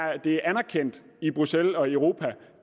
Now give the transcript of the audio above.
anerkendt i bruxelles og i europa